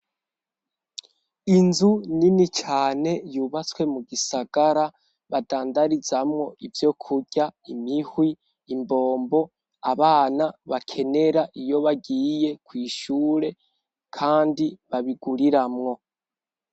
Inzu nini cane yubatswe mu gisagara badandarizamwo ivyo kurya, imihwi, imbombo, abana bakenera iyo bagiye kw'ishure kandi babiguriramwo.